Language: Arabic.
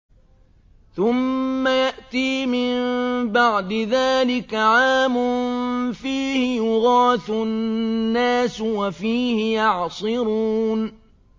ثُمَّ يَأْتِي مِن بَعْدِ ذَٰلِكَ عَامٌ فِيهِ يُغَاثُ النَّاسُ وَفِيهِ يَعْصِرُونَ